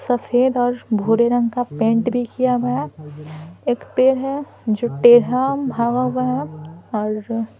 सफ़ेद और भूरे रंग का पेंट भी किया हुआ है एक पेड़ है जो टेढ़ा भागा हुआ है और --